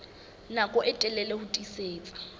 nako e telele ho tiisitse